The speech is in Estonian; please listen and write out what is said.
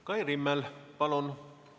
Kai Rimmel, palun!